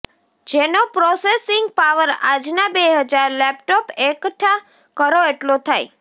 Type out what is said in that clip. જેનો processing power આજનાં બે હજાર લેપટોપ એકઠાં કરો એટલો થાય